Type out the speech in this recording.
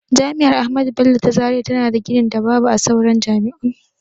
Jami'ar ahmadu bello ta zaria tana da ginin da babu a sauran jami'un.